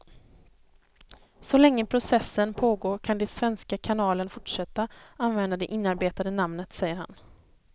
Så länge processen pågår kan den svenska kanalen fortsätta använda det inarbetade namnet, säger han.